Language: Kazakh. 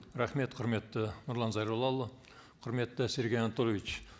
рахмет құрметті нұрлан зайроллаұлы құрметті сергей анатольевич